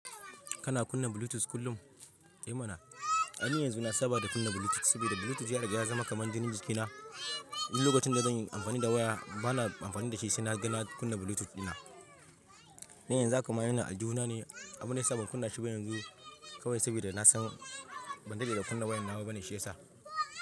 Kana kunna Bluetooth kullum? Eh mana, ai ni yanzu na saba da kunna Bluetooth saboda Bluetooth ya zama kamar jinin jikina. Duk lokacin da zan yi amfani da waya, ba na amfani da shi sai na ga na kunna Bluetooth dina. Dan yanzu za hakama yana aljihu na ne, abun ne ya sa ban kunna shi ba yanzu kawai saboda na san ban dade da kunna wayar nawa bane shi ya sa.